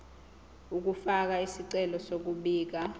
ukufaka isicelo sokubika